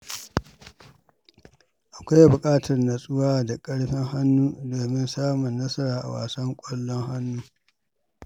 Akwai buƙatar nutsuwa da ƙarfin hannu domin samun nasara a wasan ƙallon hannu.